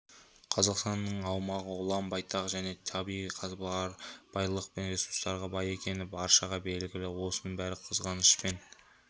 қазақстанның аумағы ұлан-байтақ және табиғи қазба байлық пен ресурстарға бай екені баршаға белгілі осының бәріне қызғанышпен